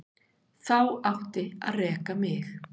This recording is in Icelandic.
Þá átti að reka mig.